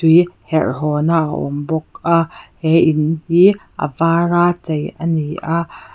tui herh haw na a awm bawk a he in hi a var a chei ani a.